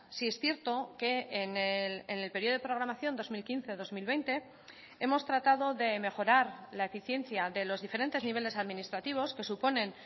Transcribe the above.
sí es cierto que en el periodo de programación dos mil quince dos mil veinte hemos tratado de mejorar la eficiencia de los diferentes niveles administrativos que suponen